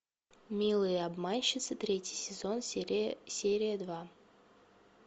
милые обманщицы третий сезон серия два